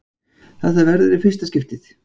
Þetta verður í fyrsta skiptið!!